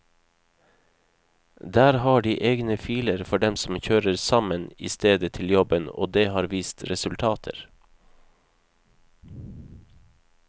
Der har de egne filer for dem som kjører sammen i stedet til jobben og det har vist resultater.